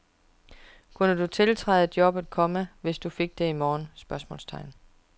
Kunne du tiltræde jobbet, komma hvis du fik det i morgen? spørgsmålstegn